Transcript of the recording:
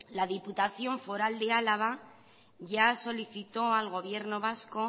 la diputación foral de álava ya solicitó al gobierno vasco